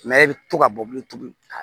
i bɛ to ka bɔ bilen tuguni